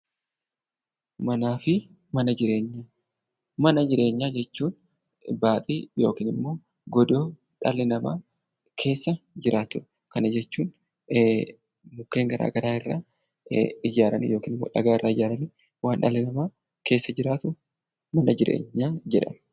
Mana jireenyaa jechuun godoo dhalli namaa keessa jiraatudha. Mana jireenyaa jechuun mukkeen garaagaraa irraa kan ijaarame yookiin dhagaarraa kan ijaarame waan dhalli namaa keessa jiratu mana jireenyaa jedhama.